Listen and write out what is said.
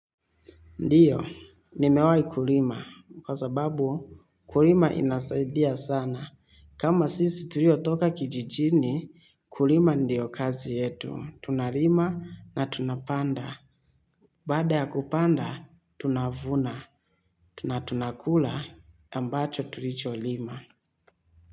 Ndiyo, nimewahi kulima kwa sababu kulima inasaidia sana. Kama sisi tulio toka kijijini, kulima ndiyo kazi yetu. Tunalima na tunapanda. Baada ya kupanda, tunavuna. Tunakula ambacho tulicho lima.